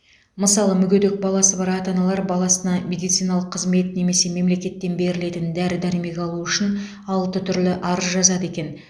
мысалы мүгедек баласы бар ата аналар баласына медициналық қызмет немесе мемлекеттен берілетін дәрі дәрмек алу үшін алты түрлі арыз жазады екен